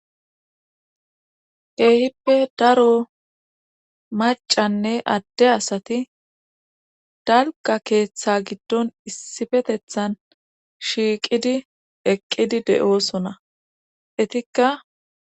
Keehippe daro macanne adde asati dalqa keeththa giddon issifetethan shiiqidi eqqidi de7oosona etikka.